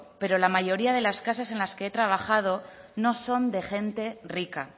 pero la mayoría de las casas en las que he trabajado no son de gente rica